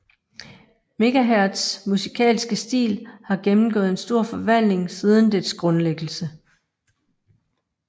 Megaherz musikalske stil har gennemgået en stor forvandling siden dets grundlæggelse